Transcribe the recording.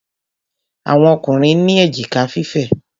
Àwọn Ọkùnrin ní èjìká fífẹ̀.